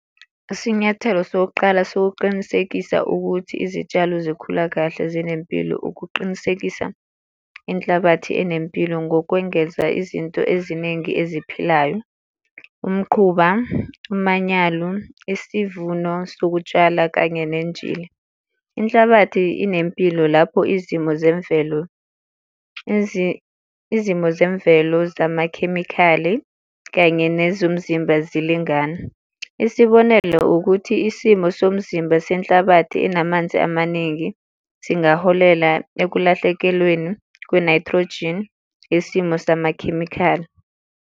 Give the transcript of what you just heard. Isinyathelo sokuqala sokuqinisekisa ukuthi izitshalo zikhula kahle zinempilo ukuqinisekisa inhlabathi enempilo ngokwengeza izinto eziningi eziphilayo. Umquba, umanyalo, isivuno sokutshala, kanye nenjini. Inhlabathi inempilo lapho izimo zemvelo, izimo zemvelo, zamakhemikhali kanye nezomzimba zilingana. Isibonelo ukuthi isimo somzimba senhlabathi enamanzi amaningi singaholela ekulahlekelweni kwe-nitrogen yesimo samakhemikhali.